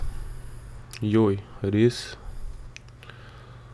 Joj, res?